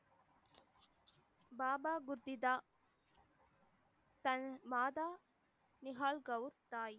பாபா புத்திதா தன் மாதா தாய்